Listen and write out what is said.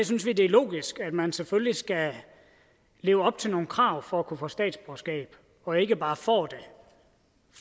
synes vi det er logisk at man selvfølgelig skal leve op til nogle krav for at kunne få statsborgerskab og ikke bare får det